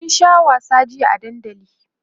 sun Sha wasa jiya a dandali